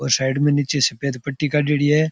और साइड मे नीचे सफेद पट्टी काडेड़ी है।